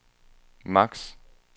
maks